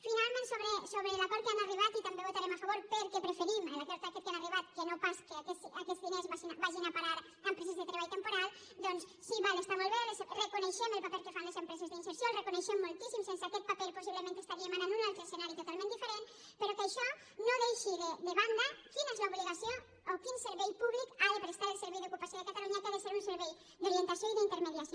finalment sobre l’acord a què han arribat i també votarem a favor perquè preferim l’acord aquest a què han arribat que no pas que aquests diners vagin a parar a empreses de treball temporal doncs sí està molt bé reconeixem el paper que fan les empreses d’inserció el reconeixem moltíssim sense aquest paper possiblement estaríem ara en un altre escenari totalment diferent però que això no deixi de banda quina és l’obligació o quin servei públic ha de prestar el servei d’ocupació de catalunya que ha de ser un servei d’orientació i d’intermediació